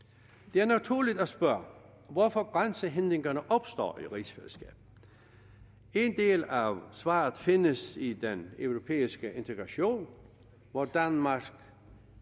det er naturligt at spørge hvorfor grænsehindringerne opstår i rigsfællesskabet en del af svaret findes i den europæiske integration hvor danmark